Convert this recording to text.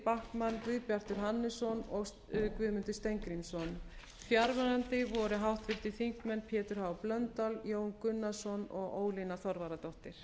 þuríður backman guðbjartur hannesson og guðmundur steingrímsson fjarverandi voru háttvirtir þingmenn pétur h blöndal jón gunnarsson og ólína þorvarðardóttir